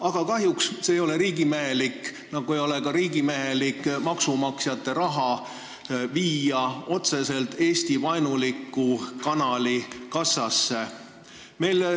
Aga kahjuks ei ole see riigimehelik, nii nagu ei ole riigimehelik viia ka maksumaksjate raha otseselt Eesti-vaenuliku kanali kassasse.